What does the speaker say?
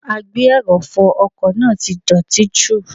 Agbe - ẹrọ̀fọ ọkọ̀ náà ti dọ̀tí jù.